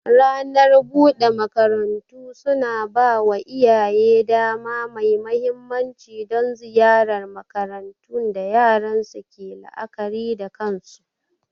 Ranar bude makarantu suna ba wa iyaye dama mai mahimmanci don ziyartar makarantun da yaran su ke la'akari da kansu.